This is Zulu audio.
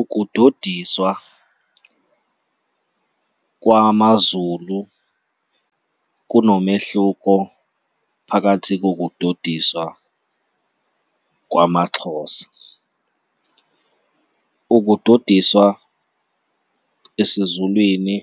Ukudodiswa kwamaZulu kunomehluko phakathi kokudodiswa kwamaXhosa. Ukudodiswa esiZulwini,